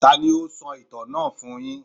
Tání o sọ ìtàn náà fún yín?